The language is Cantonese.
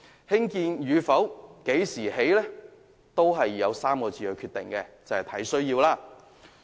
興建與否及何時提供皆取決於3個字："按需要"。